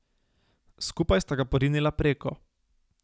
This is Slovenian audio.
Skupaj sta ga porinila preko.